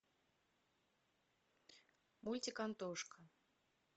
мультик антошка